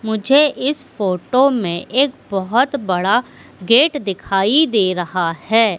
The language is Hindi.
मुझे इस फोटो में एक बहुत बड़ा गेट दिखाई दे रहा है।